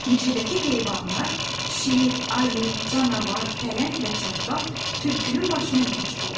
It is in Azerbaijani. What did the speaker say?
Meşədəki heyvanlar: şir, ayı, canavar, pələng və çaqqal tülkünün başına yığışdılar.